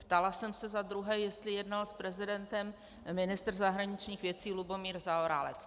Ptala jsem se za druhé, jestli jednal s prezidentem ministr zahraničních věcí Lubomír Zaorálek.